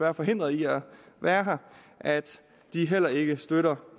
er forhindret i at være her at de heller ikke støtter